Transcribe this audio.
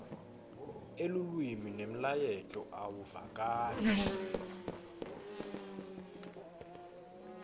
elulwimi nemlayeto awuvakali